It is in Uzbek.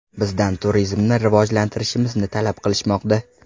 Bizdan turizmni rivojlantirishimizni talab qilishmoqda.